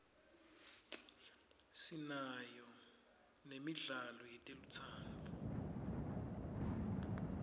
sinayo nemidlalo yetelutsandvo